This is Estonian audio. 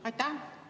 Aitäh!